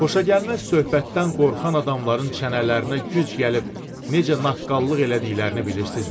Xoşagəlməz söhbətdən qorxan adamların çənələrinə güc gəlib necə naqqallıq elədiklərini bilirsizmi?